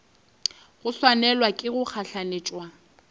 go swanelwa ke go gahlanetšwa